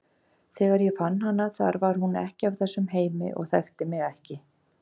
Þegar ég fann hana þar var hún ekki af þessum heimi og þekkti mig ekki.